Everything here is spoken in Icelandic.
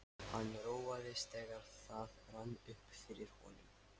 Hann róaðist, þegar það rann upp fyrir honum.